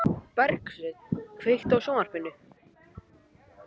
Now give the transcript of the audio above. Bergsveinn, kveiktu á sjónvarpinu.